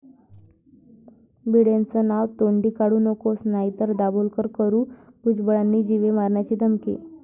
'भिडेंचं नाव तोंडी काढू नकोस, नाहीतर दाभोलकर करू', भुजबळांनी जीवे मारण्याची धमकी